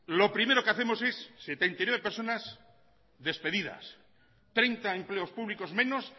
lo primero que hacemos es setenta y nueve personas despedidas treinta empleos públicos menos